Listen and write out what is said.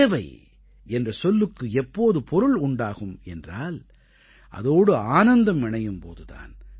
சேவை என்ற சொல்லுக்கு எப்போது பொருள் உண்டாகும் என்றால் அதோடு ஆனந்தம் இணையும் போது தான்